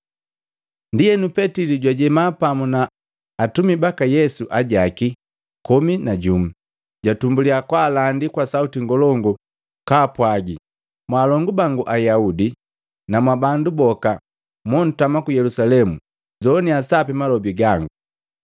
Ndienu Petili jwajema pamu na atumi baka Yesu ajaki komi na jumu, jwatumbuliya kwaalandi kwa sauti ngolongu kaapwagi, “Mwaalongu bangu Ayaudi na mwa bandu boka mwontama ku Yelusalemu, nzoaninya sapi malobi gangu.